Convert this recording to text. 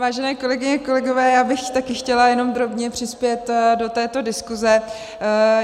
Vážené kolegyně a kolegové, já bych také chtěla jenom drobně přispět do této diskuse.